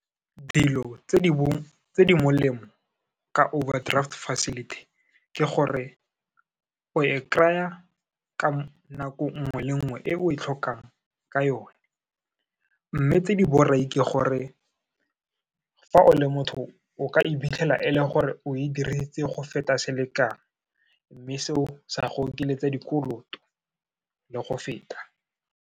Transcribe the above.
Dilo tse di molemo ka overdraft facility, ke gore o e kry-a ka nako nngwe le nngwe e o e tlhokang ka yone. Mme tse di borai ke gore, fa o le motho o ka iphitlhela e le gore o e diretse go feta selekano, mme seo sa go okeletsa dikoloto le go feta.